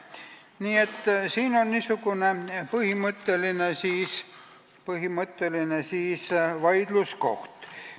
Nii et siin on niisugune põhimõtteline vaidluskoht.